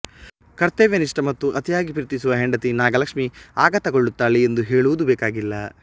ಕರ್ತವ್ಯನಿಷ್ಠ ಮತ್ತು ಅತಿಯಾಗಿ ಪ್ರೀತಿಸುವ ಹೆಂಡತಿ ನಾಗಲಕ್ಷ್ಮಿ ಆಘಾತಗೊಳ್ಳುತ್ತಾಳೆ ಎಂದು ಹೇಳುವುದು ಬೇಕಾಗಿಲ್ಲ